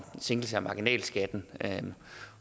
sænkelse af marginalskatten